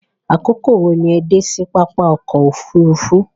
Àkókò wo ni o dé sí papá ọkọ̀ òfurufú?